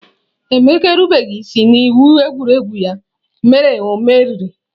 Emeka erubeghi isi n'iwu egwuregwu, ya mere o meriri.